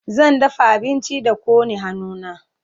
zan dafa abinci da kone hannu na